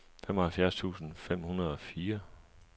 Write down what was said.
femoghalvfems tusind fem hundrede og fire